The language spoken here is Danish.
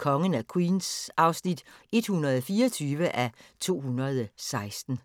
Kongen af Queens (124:216)